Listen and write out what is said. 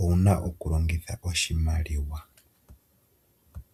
owu na okulongitha oshimaliwa.